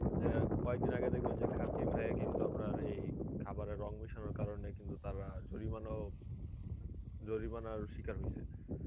অ্যাঁ কয়েকদিন আগে দেখবেন যে কাচ্চি ভাইয়ে কিন্তু আপনার এই খাবারে রং মেশানোর কারণে কিন্তু তারা জরিমানাও জরিমানার শিকার হইসে.